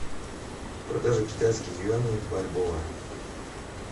продажа китайских юаней в бальбоа